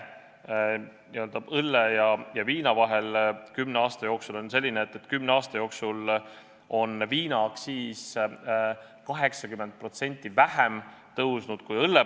Kümne aasta jooksul on viinaaktsiis 80% vähem tõusnud kui õlle oma.